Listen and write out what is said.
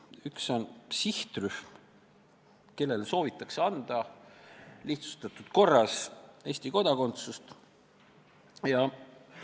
Üks puudutab sihtrühma, kellele soovitakse lihtsustatud korras Eesti kodakondsus anda.